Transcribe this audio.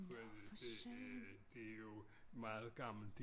Det det jo meget gammelt